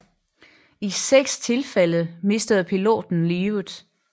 I seks tilfælde mistede piloten livet